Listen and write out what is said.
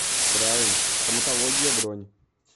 прайм стоматология бронь